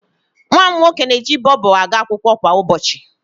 Nwa m nwoke na-eji Bobo aga akwụkwọ kwa ụbọchị.